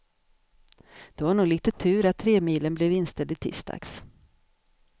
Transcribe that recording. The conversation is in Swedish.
Det var nog lite tur att tremilen blev inställd i tisdags.